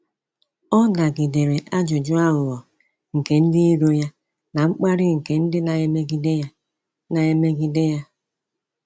Ọ nagidere ajụjụ aghụghọ nke ndị iro ya na mkparị nke ndị na-emegide ya. na-emegide ya.